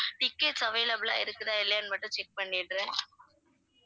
tickets available ஆ இருக்குதா இல்லையானு மட்டும் check பண்ணிடுறேன்